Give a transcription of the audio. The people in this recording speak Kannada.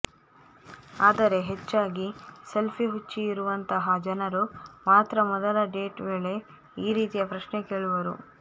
ಆದರೆ ಹೆಚ್ಚಾಗಿ ಸೆಲ್ಫಿ ಹುಚ್ಚಿ ರುವಂತಹ ಜನರು ಮಾತ್ರ ಮೊದಲ ಡೇಟ್ ವೇಳೆ ಈ ರೀತಿಯ ಪ್ರಶ್ನೆ ಕೇಳುವರು